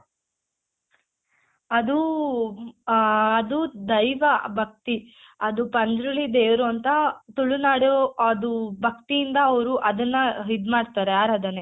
ಅದು ಆ ಅದು ದೈವ ಭಕ್ತಿ ಅದು ಪಂಜ್ರುಲಿ ದೇವ್ರು ಅಂತ ತುಳುನಾಡು ಅದು ಭಕ್ತಿಯಿಂದ ಅವ್ರು ಅದ್ನ ಇದ್ ಮಾಡ್ತಾರೆ ಆರಾಧನೆ